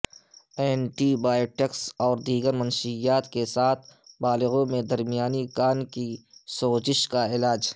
anti biotics اور دیگر منشیات کے ساتھ بالغوں میں درمیانی کان کی سوزش کا علاج